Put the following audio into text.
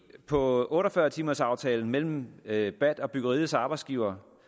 på otte og fyrre timers aftalen mellem bat bat og byggeriets arbejdsgivere